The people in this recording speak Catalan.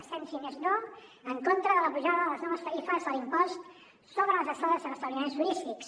estem si més no en contra de la pujada de les noves tarifes de l’impost sobre les estades en establiments turístics